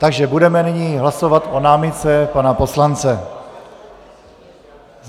Takže budeme nyní hlasovat o námitce pana poslance.